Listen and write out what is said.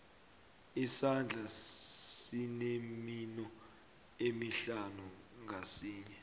isandla sinemino emihlanu ngasinye